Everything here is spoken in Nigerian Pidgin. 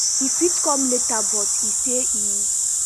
e fit come later but e say e